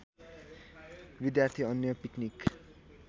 विद्यार्थी अन्य पिकनिक